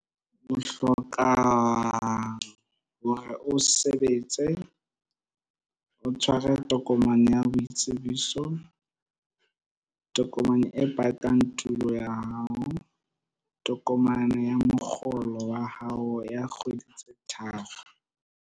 O hloka hore o sebetse, o tshware tokomane ya boitsebiso, tokomane e batang tulo ya hao, tokomane ya mokgolo wa hao ya kgwedi tse tharo.